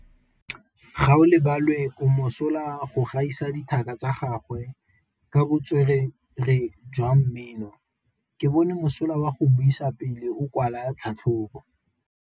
Gaolebalwe o mosola go gaisa dithaka tsa gagwe ka botswerere jwa mmino. Ke bone mosola wa go buisa pele o kwala tlhatlhobô.